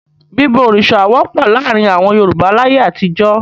Bíbọ òrìṣà wọ́pọ̀ láàárin àwọn Yorùbá láyé àtijọ́.